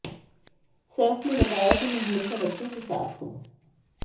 सैफ ने बताया कि मैं हमेशा बच्चों के साथ हूं